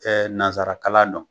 nanzararakalan nɔn